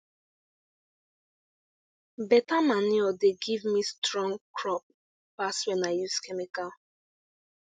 beta manure dey give me strong crop pass when i dey use chemical